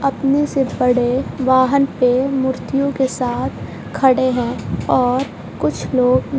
अपने से बड़े वाहन पे मूर्तियों के साथ खड़े हैं और कुछ लोग--